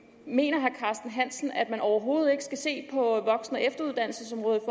mener herre carsten hansen at man overhovedet ikke skal se på voksen og efteruddannelsesområdet